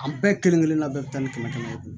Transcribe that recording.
An bɛɛ kelen kelenna bɛɛ bɛ taa ni kɛmɛ kɛmɛ ye